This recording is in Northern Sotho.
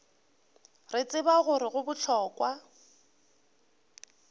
re tseba gore go bohlokwa